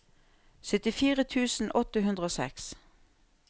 syttifire tusen åtte hundre og seks